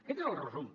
aquest és el resum